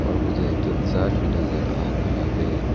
और मुझे एक इंसान भी नजर आ रहा है।